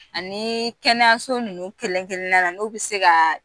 Ani kɛnɛyaso ninnu kelen kelen na na n'u bi se ka